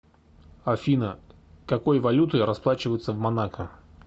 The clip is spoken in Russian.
афина какой валютой расплачиваются в монако